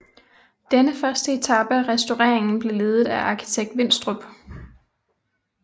Denne første etape af restaureringen blev ledet af arkitekt Winstrup